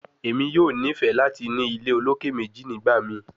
Emi yoo nifẹ lati ni ile oloke meji nigbamii